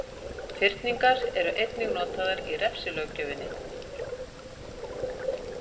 Fyrningar eru einnig notaðar í refsilöggjöfinni.